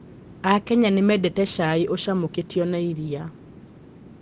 Akenya nĩ mendete cai ũcamũkĩtio na iria.